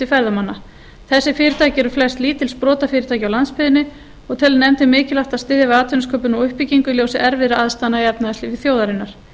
ferðamanna þessi fyrirtæki eru flest lítil sprotafyrirtæki á landsbyggðinni og telur nefndin mikilvægt að styðja við atvinnusköpun og uppbyggingu í ljósi erfiðra aðstæðna í efnahagslífi þjóðarinnar